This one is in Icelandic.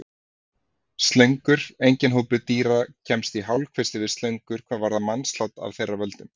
Slöngur Enginn hópur dýra kemst í hálfkvisti við slöngur hvað varðar mannslát af þeirra völdum.